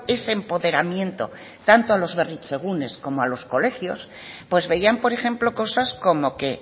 ese empoderamiento tanto a los berritzegunes como a los colegios pues veían por ejemplo cosas como que